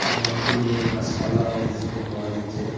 এটা অনেকগুলো গাসপালাও দেখতে পাওয়া যাচ্ছে।